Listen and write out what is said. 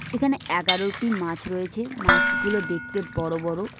এখানে এগারোটি মাছ রয়েছে মাছগুলো দেখতে বড় বড়।